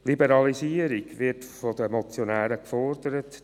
Liberalisierung wird von den Motionären gefordert.